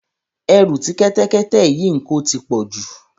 Ẹrù tí kẹ́tẹ́kẹ́tẹ́ yìí ń ko ti pọ̀ jù.